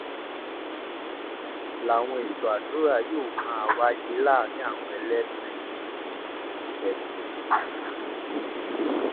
làwọn ètò àdúrà yóò máa wáyé láàrin àwọn ẹlẹ́sìn jẹsìn